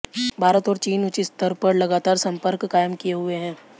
भारत और चीन उच्च स्तर पर लगातार संपर्क कायम किए हुए हैं